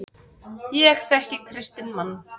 Ég þekki kristinn mann.